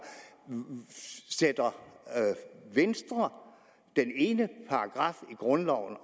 sætter venstre den ene paragraf i grundloven